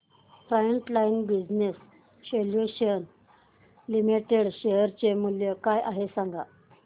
frontline Business Solutions Limited share चे मूल्य काय आहे हे सांगा